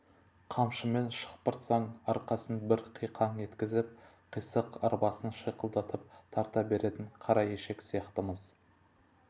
қамшымен шықпыртсаң арқасын бір қиқаң еткізіп қисық арбасын шиқылдатып тарта беретін қара ешек сияқтымыз